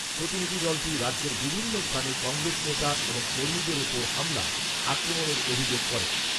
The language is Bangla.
প্রতিনিধি দলটি রাজ্যের বিভিন্ন স্থানে কংগ্রেস নেতা এবং কর্মীদের ওপর হামলা, আক্রমনের অভিযোগ করেন।